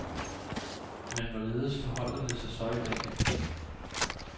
Men hvorledes forholder det sig så i dag.